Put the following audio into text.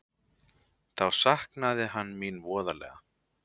Þá saknaði hann mín voðalega.